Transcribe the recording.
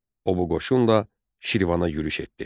O bu qoşunla Şirvana yürüş etdi.